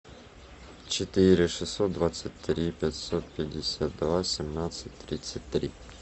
четыре шестьсот двадцать три пятьсот пятьдесят два семнадцать тридцать три